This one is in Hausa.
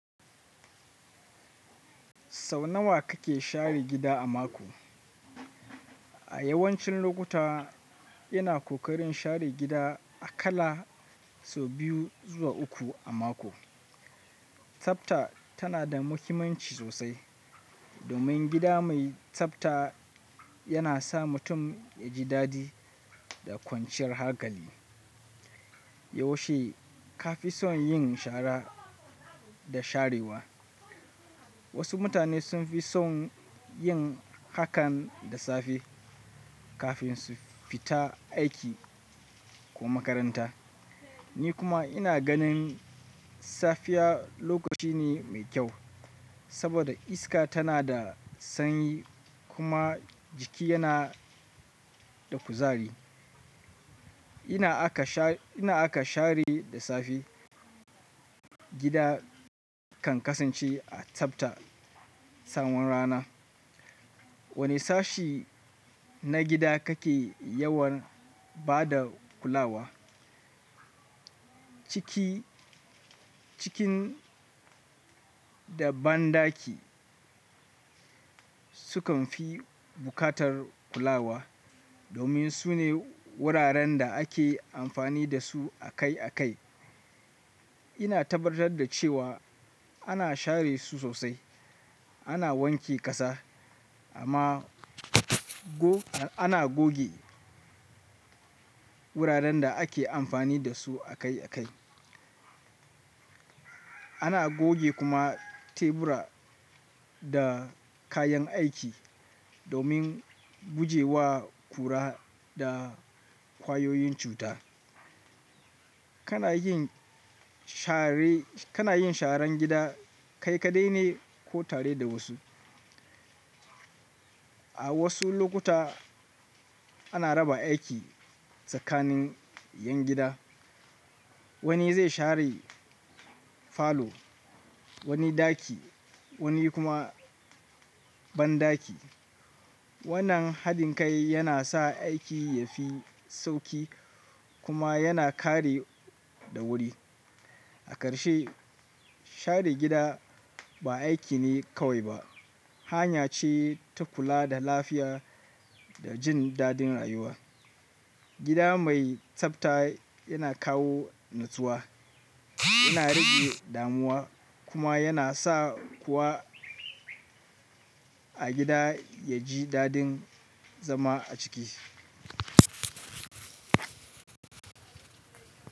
Sau nawa kake share gida a mako? A yawancin lokuta ina ƙoƙarin share gida akala sau biyu zuwa uku a mako. Tsafta tana da muhimmanci sosai domin gida mai tsafta yana sa mutum yaji dadi da kwanciyar hakali. Yaushe ka fi son yin shara da sharewa? Wasu mutane sun fi son yin hakan da safe kafin su fita aiki ko makaranta. Ni kuma ina ganin safiya lokaci ne mai kyau saboda iska tana da sanyi kuma jiki yana da kuzari. Ina aka share da safe, gida kan kasance a tsafta tsawon rana. Wane sashi na gida kake yawan bada kulawa? Ciki, cikin da banɗaki sukan fi buƙatar kulawa domin sune wuraren da ake amfani dasu akai akai. Ina tabbatar da cewa ana share su sosai, ana wanke ƙasa amma ana goge wuraren da ake amfani dasu akai akai. Ana goge kuma tebura da kayan aiki domin gujewa kura da ƙwayoyin cuta. Kana yin sharan gida kai kaɗai ne ko tare da wasu? A wasu lokuta ana raba aiki tsakanin ƴan gida. Wani zai share falo, wani ɗaki, wani kuma banɗaki. Wannan haɗin kai yana sa aiki yafi sauƙi kuma yana kare da wuri. A ƙarshe, share gida ba aiki ne kawai ba, hanya ce ta kula da lafiya da jin dadin rayuwa. Gida mai tsafta yana kawo natsuwa, yana rage damuwa kuma yana sa kowa a gida ya ji dadin zama a ciki.